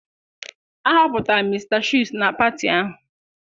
A họpụtara Mr Chuks na pati ahụ?